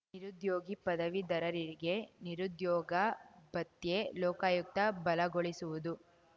ನಿರುದ್ಯೋಗಿ ಪದವೀಧರರಿಗೆ ನಿರುದ್ಯೋಗ ಭತ್ಯೆ ಲೋಕಾಯುಕ್ತ ಬಲಗೊಳಿಸುವುದು